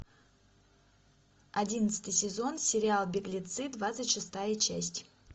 одиннадцатый сезон сериал беглецы двадцать шестая часть